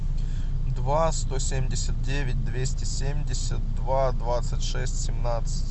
два сто семьдесят девять двести семьдесят два двадцать шесть семнадцать